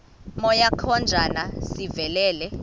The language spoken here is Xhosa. moya kajona sivelele